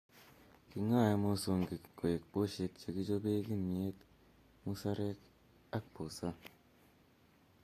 Keng'oe mosongik koek poshek che kichope kimyet ,muserek ak busaa